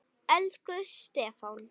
Elsku Stefán.